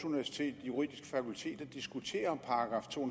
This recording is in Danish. universitets juridiske fakultet for at diskutere § to